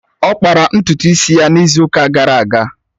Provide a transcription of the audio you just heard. Ọ kpara ntutu isi ya n'izu ụka gara aga